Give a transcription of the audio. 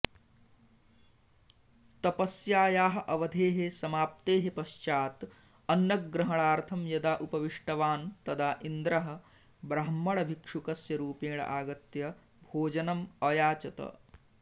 तपस्यायाः अवधेः अमाप्तेः पश्चात् अन्नग्रहणार्थं यदा उपविष्टवान् तदा इन्द्रः ब्राह्मणभिक्षुकस्य रूपेण आगत्य भोजनम् अयाचत